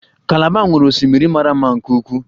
Kalaba nwere osimiri mara mma nke ukwuu